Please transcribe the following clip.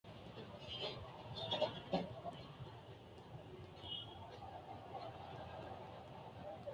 knuni maa leellishanno ? danano maati ? badheenni noori hiitto kuulaati ? mayi horo afirino ? baychu lowonta biifinohu mayraati su'ma baychunniha mayyinannikkka